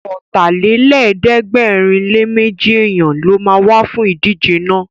Ọ̀tàlélẹ̀ẹ́dẹ́gbẹ̀rinléméjì èèyàn ló ma wá fún ìdíje náà